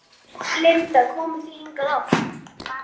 Linda: En komið þið hingað oft?